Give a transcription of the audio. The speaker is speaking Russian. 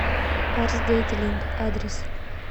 арс детейлинг адрес